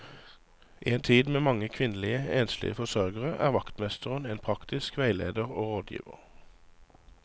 I en tid med mange kvinnelige, enslige forsørgere er vaktmesteren en praktisk veileder og rådgiver.